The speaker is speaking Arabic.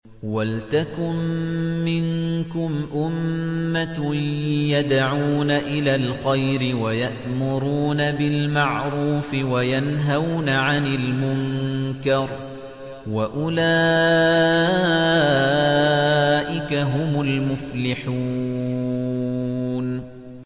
وَلْتَكُن مِّنكُمْ أُمَّةٌ يَدْعُونَ إِلَى الْخَيْرِ وَيَأْمُرُونَ بِالْمَعْرُوفِ وَيَنْهَوْنَ عَنِ الْمُنكَرِ ۚ وَأُولَٰئِكَ هُمُ الْمُفْلِحُونَ